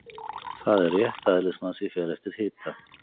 Það er rétt að eðlismassi fer eftir hita.